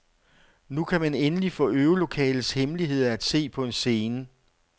Nu kan man endelig få øvelokalets hemmeligheder at se på en scene.